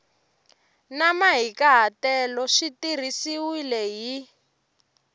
na mahikahatelo swi tirhisiwile hi